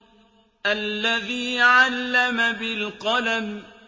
الَّذِي عَلَّمَ بِالْقَلَمِ